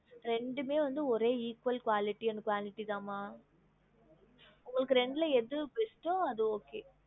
ரெண்டுமே வந்து ஒரே equal quality and quantity தான் மா உங்களுக்கு ரெண்டல எது best ஓ அது okay